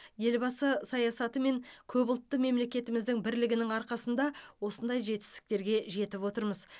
елбасы саясаты мен көпұлтты мемлекетіміздің бірлігінің арқасында осындай жетістіктерге жетіп отырмыз